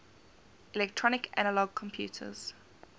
electronic analog computers